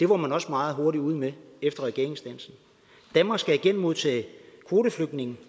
var man også meget hurtigt ude med efter regeringsdannelsen danmark skal igen modtage kvoteflygtninge